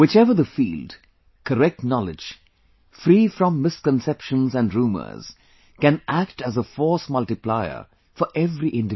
Whichever the field, correct knowledge, free from misconceptions and rumors can act as a force multiplier for every individual